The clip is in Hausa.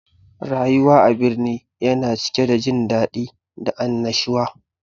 Rayuwa a birni yana cike da jin daɗi da annashuwa